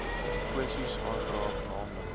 kwessies aanraak naamlik